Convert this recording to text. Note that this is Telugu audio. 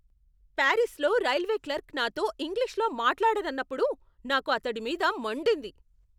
పారిస్లో రైల్వే క్లర్క్ నాతో ఇంగ్లీష్లో మాట్లాడనన్నప్పుడు నాకు అతడి మీద మండింది.